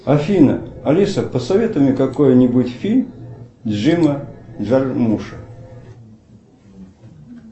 афина алиса посоветуй мне какой нибудь фильм джима джармуша